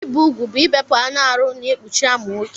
Ibi ụgwụ bụ ibepụ anụ arụ na-ekpụchi amụ nwọke.